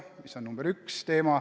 See on teema nr 1.